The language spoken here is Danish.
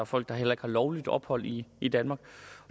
folk der heller ikke har lovligt ophold i i danmark